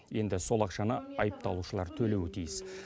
енді сол ақшаны айыпталушылар төлеуі тиіс